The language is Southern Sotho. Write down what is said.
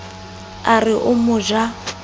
a re o mo ja